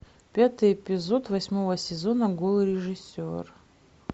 пятый эпизод восьмого сезона голый режиссер